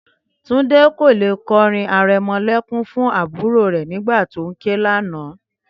Túndé kò lè kọrin arẹmọlẹ́kún fún àbúrò rẹ̀ nígbà tó ń ké lánàá